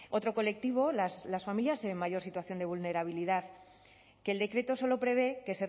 otro colectivo las familias en mayor situación de vulnerabilidad que el decreto solo prevé que